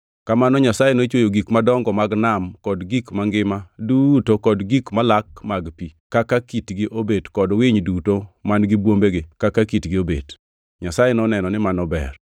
Kamano Nyasaye nochweyo gik madongo mag nam kod gik mangima duto kod gik malak mag pi, kaka kitgi obet kod winy duto man-gi bwombegi kaka kitgi obet. Nyasaye noneno ni mano ber.